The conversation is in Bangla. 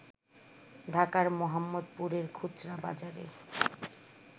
ঢাকার মোহাম্মদপুরের খুচরা বাজারে